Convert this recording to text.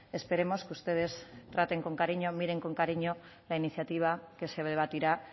esperemos que ustedes traten con cariño miren con cariño la iniciativa que se debatirá